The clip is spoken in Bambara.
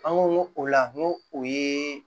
An ko o la n ko o ye